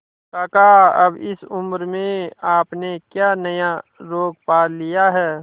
काका अब इस उम्र में आपने क्या नया रोग पाल लिया है